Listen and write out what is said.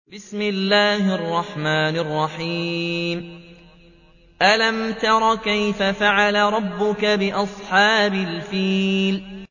أَلَمْ تَرَ كَيْفَ فَعَلَ رَبُّكَ بِأَصْحَابِ الْفِيلِ